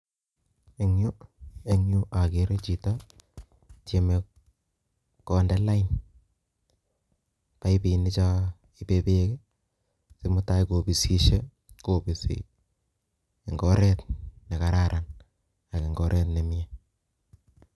Eng yu akerei chito tyemei konde lain paipishek chebo bek sikobit konde bek komye